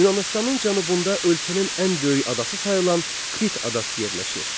Yunanıstanın cənubunda ölkənin ən böyük adası sayılan Krit adası yerləşir.